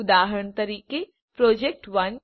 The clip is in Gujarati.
ઉદાહરણ તરીકે પ્રોજેક્ટ1